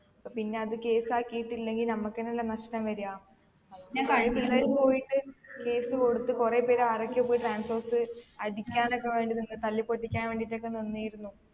പിന്നെ അത് case ആകിട്ടില്ലെങ്കി നമ്മക്ക് തന്നെയല്ലേ നഷ്ട്ടം വരാ പോയിട്ട് case കൊടുത്ത് കൊറേ പേർ ആരൊക്കെയോ പോയി transorze അടിക്കാൻ ഒക്കെ വേണ്ടി നിന്ന് തല്ലി പൊട്ടിക്കാൻ ഒക്കെ വേണ്ടീട്ട് ഒക്കെ നിന്നിരുന്നു